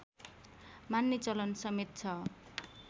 मान्ने चलन समेत छ